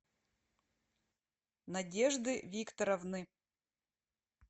надежды викторовны